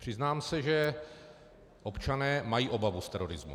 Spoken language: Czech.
Přiznám se, že občané mají obavu z terorismu.